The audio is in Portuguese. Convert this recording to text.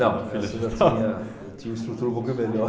eu já tinha, eu tinha uma estrutura um pouco melhor.